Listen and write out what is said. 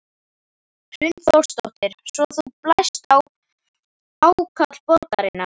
Hrund Þórsdóttir: Svo þú blæst á ákall borgarinnar?